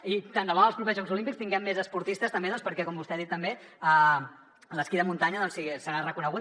i tant debò en els propers jocs olímpics tinguem més esportistes també doncs perquè com vostè ha dit també l’esquí de muntanya serà reconegut